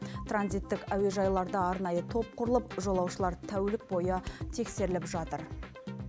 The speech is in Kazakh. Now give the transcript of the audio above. транзиттік әуежайларда арнайы топ құрылып жолаушылар тәулік бойы тексеріліп жатыр